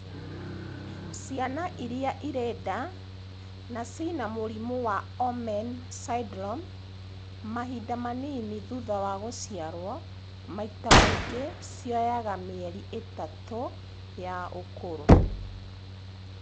Ciana irĩa irĩ nda na cina mũrimũ wa Omenn syndrome mahinda manini thutha wa gũciarwo, maita maingĩ cioyaga mĩeri ĩtatũ ya ũkũrũ